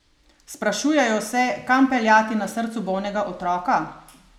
Sprašujejo se, kam peljati na srcu bolnega otroka?